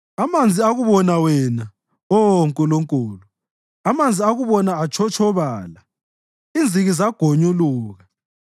Amanzi akubona wena, Oh Nkulunkulu, amanzi akubona atshotshobala; inziki zagonyuluka.